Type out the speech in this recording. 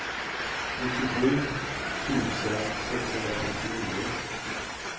nittiosju tusen sexhundrafemtionio